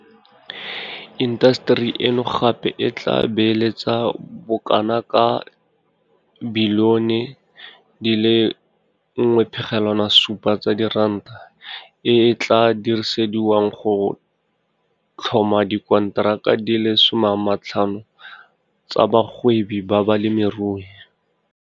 Intaseteri eno gape e tla beeletsa bokanaka R1.7 bilione e e tla dirisediwang go tlhoma dikonteraka di le 50 tsa bagwebi ba balemirui.